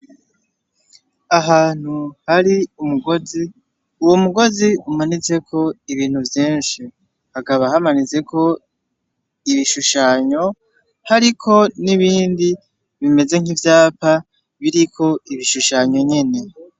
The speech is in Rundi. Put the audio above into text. Ahantu hari umugozi, uwo mugozi umanitseko ibintu vy'inshi. Hakaba hamaniteko ibishushanyo hariko n'ibindi bimeze nk'ivyapa biriko ibishushanyo nyine.